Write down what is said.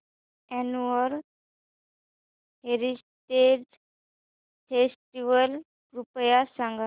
annual heritage festival कृपया सांगा